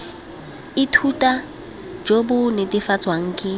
ithuta jo bo netefatswang ke